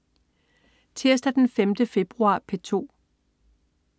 Tirsdag den 5. februar - P2: